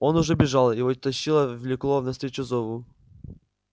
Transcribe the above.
он уже бежал его тащило влекло навстречу зову